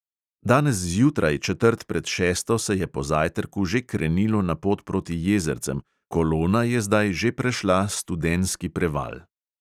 Danes zjutraj četrt pred šesto se je po zajtrku že krenilo na pot proti jezercem, kolona je zdaj že prešla studenski preval.